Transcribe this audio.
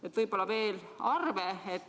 Toon võib-olla veel mõne arvu.